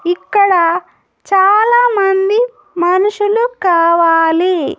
ఇక్కడ చాలా మంది మనుషులు కావాలి.